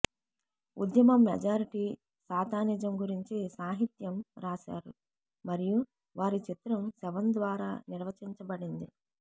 ఉద్యమం మెజారిటీ సాతానిజం గురించి సాహిత్యం రాశారు మరియు వారి చిత్రం శవం ద్వారా నిర్వచించబడింది